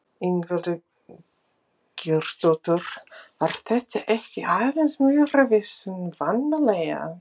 Ingveldur Geirsdóttir: Var þetta ekki aðeins meira vesen vanalega?